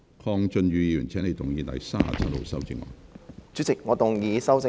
鄺俊宇議員，請你動議編號37的修正案。